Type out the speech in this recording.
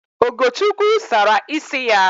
Ogochukwu sara ịsị ya